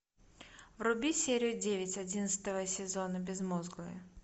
вруби серию девять одиннадцатого сезона безмозглые